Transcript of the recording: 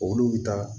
Olu bɛ taa